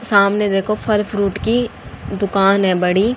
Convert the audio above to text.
सामने देखो फल फ्रूट की दुकान है बड़ी।